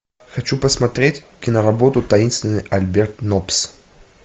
хочу посмотреть киноработу таинственный альберт ноббс